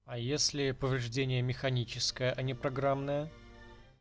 а если повреждение механическое а не программное